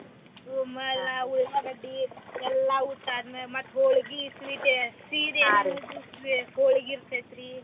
ಆಮ್ಯಾಲ ಉಳ್ಳಾಗಡ್ಡಿ ಎಲ್ಲಾ ಊಟ ಆದ್ಮೇಲೆ ಮತ್ತ ಹೊಳ್ಗಿ sweet ಹೊಳ್ಗಿ ಇರ್ತೇತ್ರಿ.